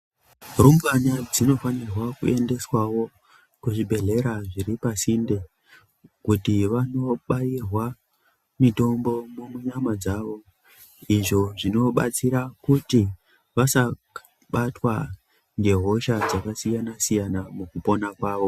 Rumbwana dzinofane kuendeswawo kuzvibhehlera zvinenge zviri pasinde kuti vanobairwa mutombo munyama dzavo izvo zvinobatsira kuti vasabatwa ngehosha dzakasiyana siyana mukupona kwavo.